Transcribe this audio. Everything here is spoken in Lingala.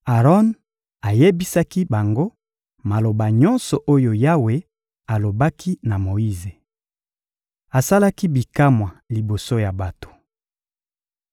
Aron ayebisaki bango maloba nyonso oyo Yawe alobaki na Moyize. Asalaki bikamwa liboso ya bato.